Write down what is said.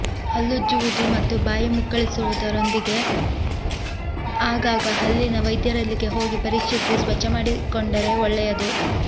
ಹಲ್ಲುಜ್ಜುವುದು ಮತ್ತು ಬಾಯಿ ಮುಕ್ಕಳಿಸಿಕೊಳ್ಳುವುದರೊಂದಿಗೆ ಆಗಾಗ ಹಲ್ಲಿನ ವೈದ್ಯರಲ್ಲಿಗೆ ಹೋಗಿ ಪರೀಕ್ಷಿಸಿ ಸ್ವಚ್ಛ ಮಾಡಿಕೊಂಡರೆ ಒಳ್ಳೆಯದು